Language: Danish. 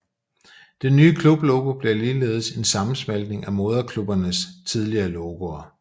Det nye klublogo blev ligeledes en sammensmeltning af moderklubbernes tidligere logoer